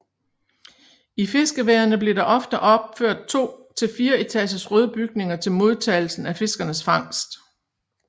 I fiskeværene blev der ofte opført to til fire etagers røde bygninger til modtagelsen af fiskernes fangst